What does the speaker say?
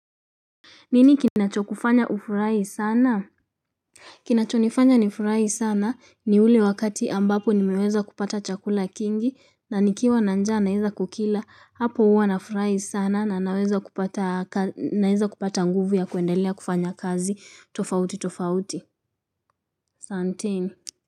Nini kinacho kufanya ufurahi sana? Kinacho nifanya nifurahi sana ni ule wakati ambapo nimeweza kupata chakula kingi na nikiwa na njaa naizekukila hapo uwa nafurahisana na naeza kupata nguvu ya kuendelea kufanya kazi tofauti tofauti. Asanteni.